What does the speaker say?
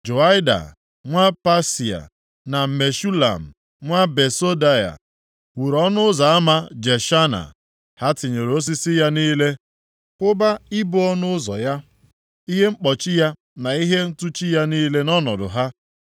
Joiada nwa Pasea na Meshulam nwa Besodeia wuru Ọnụ Ụzọ Ama Jeshana. Ha tinyere osisi ya niile, kwụba ibo ọnụ ụzọ ya, ihe mkpọchi ya na ihe ntụchi ya niile nʼọnọdụ ha.